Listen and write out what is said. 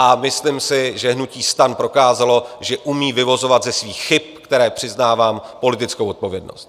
A myslím si, že hnutí STAN prokázalo, že umí vyvozovat ze svých chyb, které přiznávám, politickou zodpovědnost.